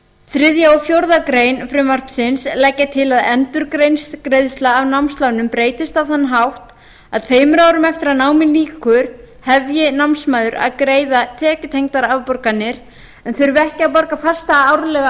þriðja og fjórðu grein frumvarpsins leggja til að endurgreiðsla af námslánum breytist á þann hátt að tveimur árum eftir að námi lýkur hefji námsmaður að greiða tekjutengdar afborganir en þurfi ekki að borga fasta árlega